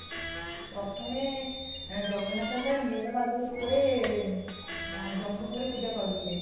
ପ୍ରଥମେ ଜଗନ୍ନାଥ ତ ନୀଳମାଧବ ରୂପରେ ଜଙ୍ଗଲରେ ପୂଜା ପାଉଥିଲେ |